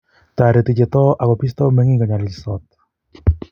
toreti che too aku bistoi meng'ik konyalilsot